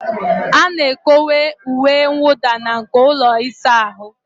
A na-ekowe uwe mwụda na nko ụlọ ịsa ahụ.